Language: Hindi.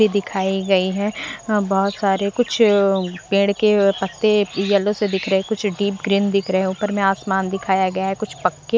ये दिखाई गई है बहुत सारे कुछ पेड़ के पत्ते येलो से दिख रहे कुछ डीप ग्रीन दिख रहे हैं ऊपर में आसमान दिखाया गया है कुछ पक्के--